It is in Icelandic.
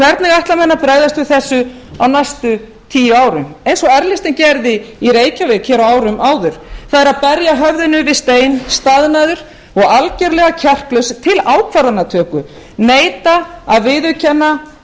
hvernig ætla menn að bregðast við þessu á næstu tíu árum eins og r listinn gerði í reykjavík hér á árum áður það er að berja höfðinu við stein staðnaður og algerlega kjarklaus til ákvarðanatöku neita að viðurkenna